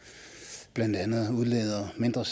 blandt andet udleder mindre